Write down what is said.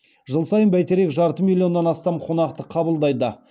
жыл сайын бәйтерек жарты миллионнан астам қонақты қабылдайды